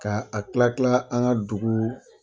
Ka a kila kila an ka dugu